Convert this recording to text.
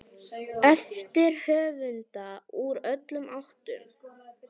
eftir höfunda úr öllum áttum.